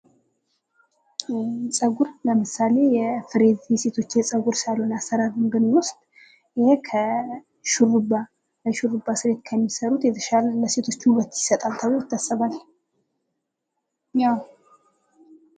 ፀጉር ለምሳሌ የፍሪዝ የሴቶች ስታይል ማየት እንችላለን ።ይህ ከሹርባ የተሻለ ለሴቶች ውበትን የሚሰጥ ነው ።